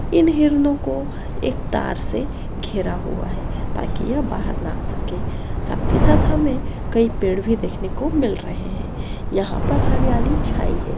इन हिरणों को एक तार से घेरा हुआ है ताकी ये बाहर ना आ सके साथ ही साथ हमें कई पेड़ भी देखने को मिल रहे है यहाँ पर हरयाली छाई है।